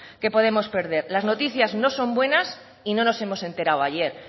que podemos perder las noticias no son buenas y no nos hemos enterado ayer